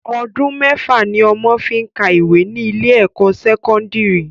Ọdún mẹ́fà ni ọmọ fi máá ń ka ìwé ní ilé ẹ̀kọ́ sẹ́kọ́ndìrì